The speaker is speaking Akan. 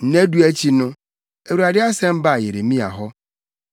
Nna du akyi no, Awurade asɛm baa Yeremia hɔ.